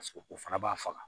Paseke o fana b'a faga